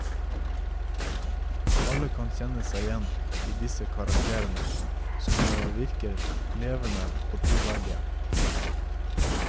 Alle kan kjenne seg igjen i disse karakterene, som virker levende og troverdige.